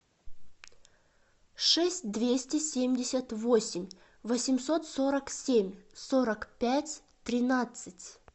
шесть двести семьдесят восемь восемьсот сорок семь сорок пять тринадцать